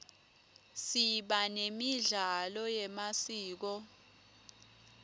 siba nemidlalo yemasiko